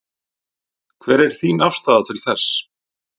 Hver er þín afstaða til þess?